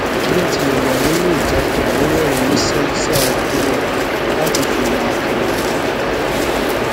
bí ó tilẹ wà nínú ìjákulẹ ó rérìnín músé sí àwọn àbúrò rè láti fìwà akin hàn wọn